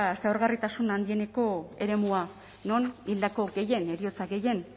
zaurgarritasun handieneko eremua non hildako gehien heriotza gehien